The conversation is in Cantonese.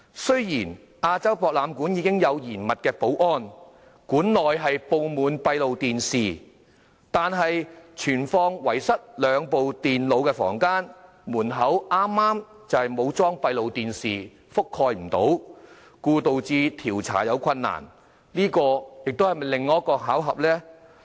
雖然亞洲博覽館的保安嚴密，館內布滿閉路電視，但存放遺失兩部電腦的房間門口剛好沒有裝上閉路電視，無法覆蓋，導致調查困難，這是否又是另一個巧合呢？